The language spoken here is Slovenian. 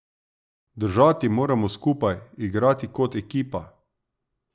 Držati moramo skupaj, igrati kot ekipa.